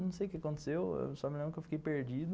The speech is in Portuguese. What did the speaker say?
Não sei o que aconteceu, só me lembro que eu fiquei perdido.